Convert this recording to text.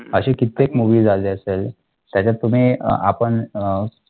असे कित्येक movies आले असेल त्याच्यात तुम्ही अ आपण अं